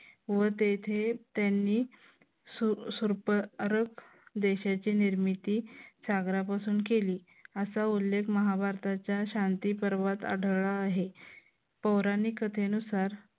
व तेथे त्यांनी देशाची निर्मिती सागरापासून केली. असा उल्लेख महाभारताच्या शांतिपर्वत आढळला आहे. पौराणिक कथेनुसार